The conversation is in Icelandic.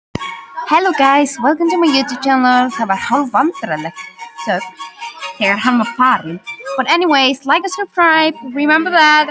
Það var hálfvandræðaleg þögn þegar hann var farinn.